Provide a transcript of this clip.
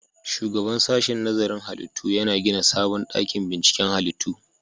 Shugaban sashen nazarin halittu yana gina sabon dakin binciken halittu